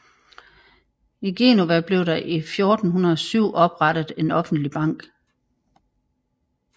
I Genova blev der i 1407 oprettet en offentlig bank